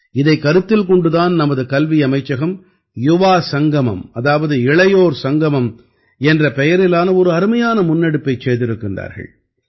இதைக் கருத்தில் கொண்டு தான் நமது கல்வி அமைச்சகம் யுவாசங்கமம் அதாவது இளையோர் சங்கமம் என்ற பெயரிலான ஒரு அருமையான முன்னெடுப்பைச் செய்திருக்கிறார்கள்